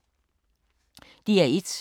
DR1